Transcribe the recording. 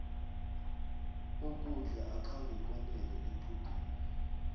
ukudla akhange kwanele equdeni